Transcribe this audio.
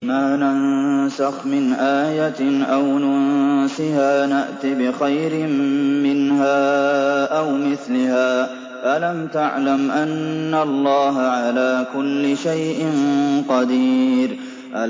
۞ مَا نَنسَخْ مِنْ آيَةٍ أَوْ نُنسِهَا نَأْتِ بِخَيْرٍ مِّنْهَا أَوْ مِثْلِهَا ۗ أَلَمْ تَعْلَمْ أَنَّ اللَّهَ عَلَىٰ كُلِّ شَيْءٍ قَدِيرٌ